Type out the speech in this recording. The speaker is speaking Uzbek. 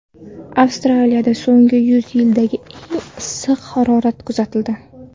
Avstraliyada so‘nggi yuz yildagi eng issiq harorat kuzatildi.